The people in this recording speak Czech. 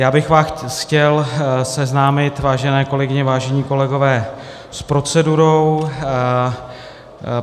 Já bych vás chtěl seznámit, vážené kolegyně, vážení kolegové, s procedurou.